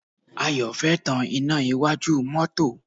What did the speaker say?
Ayọ̀ fẹ́ tan iná iwájú mọ́tọ́.